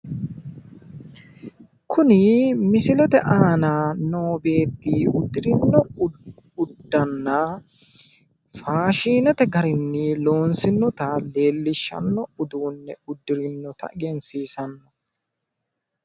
Kuni misilete aana noo beetti uddirino uddanna faashiinete garinni loonsinnota leellishshanno uduunne uddirinnota egensiisanno.